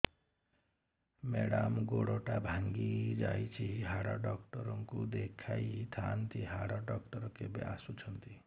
madam ଗୋଡ ଟା ଭାଙ୍ଗି ଯାଇଛି ହାଡ ଡକ୍ଟର ଙ୍କୁ ଦେଖାଇ ଥାଆନ୍ତି ହାଡ ଡକ୍ଟର କେବେ ଆସୁଛନ୍ତି